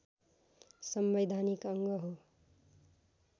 संवैधानिक अङ्ग हो